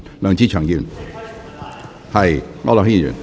梁志祥議員，請提問。